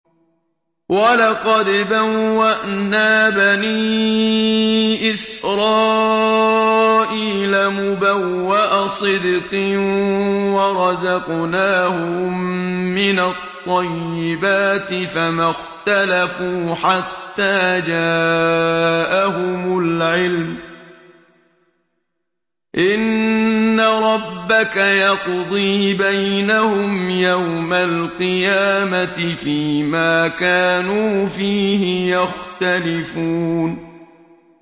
وَلَقَدْ بَوَّأْنَا بَنِي إِسْرَائِيلَ مُبَوَّأَ صِدْقٍ وَرَزَقْنَاهُم مِّنَ الطَّيِّبَاتِ فَمَا اخْتَلَفُوا حَتَّىٰ جَاءَهُمُ الْعِلْمُ ۚ إِنَّ رَبَّكَ يَقْضِي بَيْنَهُمْ يَوْمَ الْقِيَامَةِ فِيمَا كَانُوا فِيهِ يَخْتَلِفُونَ